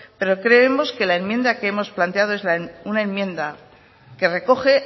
pero creemos que la enmienda que hemos planteado es una enmienda que recoge